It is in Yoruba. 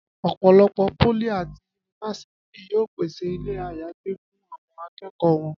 Ọ̀pọ̀lọpọ̀ pólì àti yunifásítì yóò pèsè ilé-àyágbé fún àwọn akẹ́kọ̀ọ́ wọn